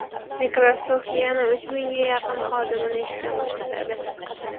Microsoft yana uch mingga yaqin xodimini ishdan bo‘shatadi.